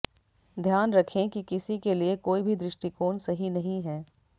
ध्यान रखें कि किसी के लिए कोई भी दृष्टिकोण सही नहीं है